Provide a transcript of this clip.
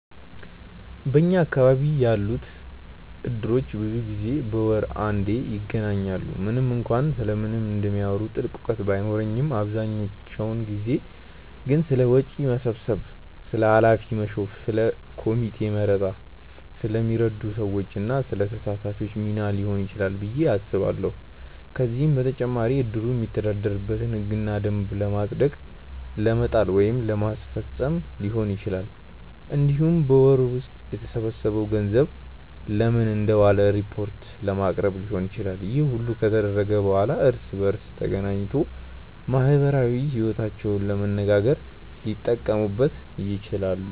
በኛ አካባቢ ያሉት እድሮች ብዙ ጊዜ በወር አንዴ ይገናኛሉ። ምንም እንኳን ስለምን እንደሚያወሩ ጥልቅ እውቀት ባይኖረኝም አብዛኛውን ጊዜ ግን ስለ ወጪ መሰብሰብ፣ ስለ ኃላፊ መሾም፣ ስለ ኮሚቴ መረጣ፣ ስለሚረዱ ሰዎች እና ስለ ተሳታፊዎቹ ሚና ሊሆን ይችላል ብዬ አስባለሁ። ከዚህም በተጨማሪ እድሩ የሚተዳደርበትን ህግና ደንብ ለማጽደቅ ለመጣል ወይም ለማስፈፀም ሊሆን ይችላል። እንዲሁም በወሩ ውስጥ የተሰበሰበው ገንዘብ ለምን እንደዋለ ሪፖርት ለማቅረብ ሊሆንም ይችላል። ይህ ሁሉ ከተደረገ በኋላ እርስ በእርስ ተገናኝቶ ማህበራዊ ይወታቸውንም ለመነጋገር ሊጠቀሙት ይችላሉ።